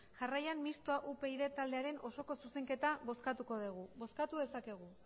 jarraian mistoa upyd taldearen osoko zuzenketa bozkatuko degu bozkatu dezakegu